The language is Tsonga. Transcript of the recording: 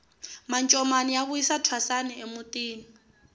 mancomani ya vuyisa thwasani emutini